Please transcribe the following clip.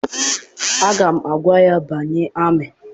Aga m agwa ya banye amị!